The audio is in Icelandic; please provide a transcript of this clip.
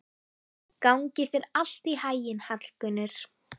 Gangi þér allt í haginn, Hallgunnur.